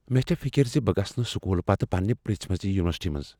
مےٚ چھےٚ فکر ز بہٕ گژھہٕ نہٕ سکولہٕ پتہٕ پننہ یژھِمٕژِ یونیورسٹی منٛز ۔